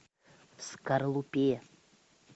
в скорлупе